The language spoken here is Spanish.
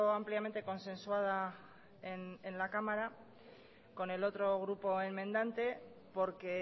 ampliamente consensuada en la cámara con el otro grupo enmendante porque